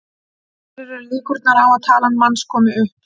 Hverjar eru líkurnar á að talan manns komi upp?